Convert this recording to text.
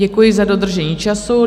Děkuji za dodržení času.